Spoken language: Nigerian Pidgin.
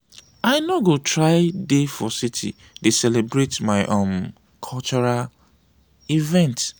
i no go try dey for city dey celebrate my um cultural event.